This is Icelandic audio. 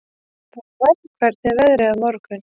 Þorvar, hvernig er veðrið á morgun?